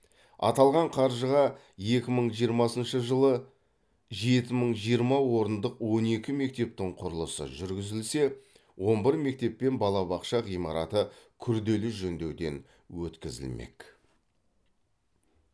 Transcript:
аталған қаржыға екі мың жиырмасыншы жылы жеті мың жиырма орындық он екінші мектептің құрылысы жүргізілсе он бір мектеп пен балабақша ғимараты күрделі жөндеуден өткізілмек